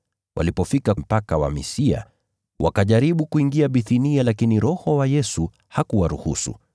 Walipofika mpaka wa Misia, wakajaribu kuingia Bithinia lakini Roho wa Yesu hakuwaruhusu.